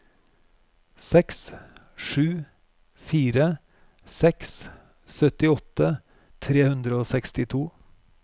seks sju fire seks syttiåtte tre hundre og sekstito